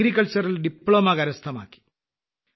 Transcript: അഗ്രികൾച്ചറിൽ diploma കരസ്ഥമാക്കി